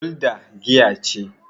gulda giya ce